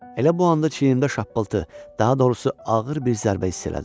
Elə bu anda çiyinimdə şappıltı, daha doğrusu ağır bir zərbə hiss elədim.